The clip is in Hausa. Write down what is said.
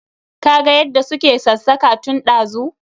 Ka ga yadda su ke ksassaka tun dazu.